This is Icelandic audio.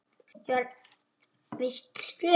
Ég var víst slys.